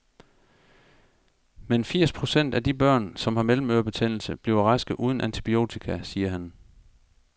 Men firs procent af de børn, som har mellemørebetændelse, bliver raske uden antibiotika, siger han.